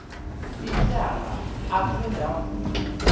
ityala akhe ndavuma